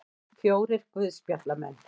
Fjórir guðspjallamenn.